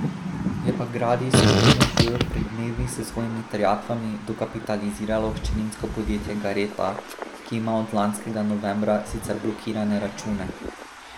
Je pa Gradis Skupino G pred dnevi s svojimi terjatvami dokapitaliziralo hčerinsko podjetje Gareta, ki ima od lanskega novembra sicer blokirane račune.